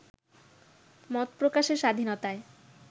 মত প্রকাশের স্বাধীনতায়